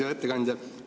Hea ettekandja!